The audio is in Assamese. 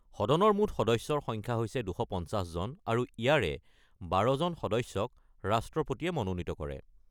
সদনৰ মুঠ সদস্যৰ সংখ্যা হৈছে ২৫০জন, আৰু ইয়াৰে ১২জন সদস্যক ৰাষ্ট্ৰপতিয়ে মনোনীত কৰে।